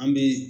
An bɛ